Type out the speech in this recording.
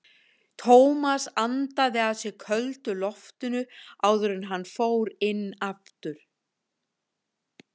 Tómas andaði að sér köldu loftinu áður en hann fór inn aftur.